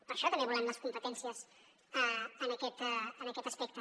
per això també volem les competències en aquest aspecte